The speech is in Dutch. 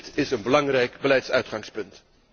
Dit is een belangrijk beleidsuitgangspunt.